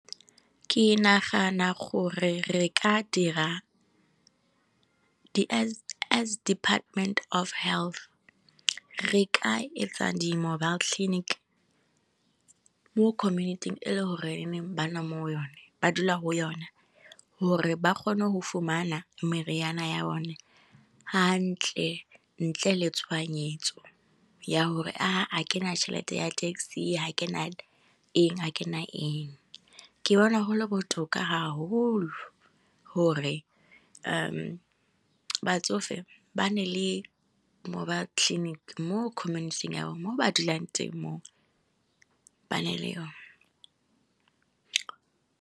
Ke nagana gore re ka dira as Department of health, re ka etsa di mobile clinic. Mo community-ing e le gore ba dula go yone, gore ba kgone go fumana meriana ya bone ha ntle, ntle le tshoganyetso, ya hore a ke na tšhelete ya taxi, ha ke nang eng, a ke nang eng. Ke bona gole botoka ha holo, hore batsofe ba nne le mobile clinic mo community-ing ya bo moo ba dulang teng moo, ba nne le yona.